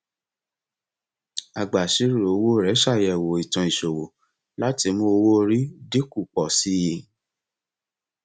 agbàìṣirò owó rẹ ṣàyẹwò ìtàn ìṣòwò láti mú owóorí dín kù pọ sí i